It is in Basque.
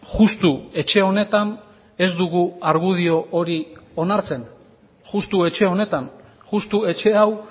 justu etxe honetan ez dugu argudio hori onartzen justu etxe honetan justu etxe hau